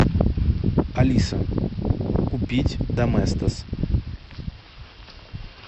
алиса купить доместос